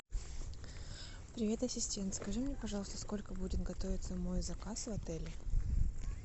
привет ассистент скажи мне пожалуйста сколько будет готовиться мой заказ в отеле